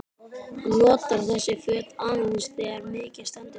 Hann notar þessi föt aðeins þegar mikið stendur til.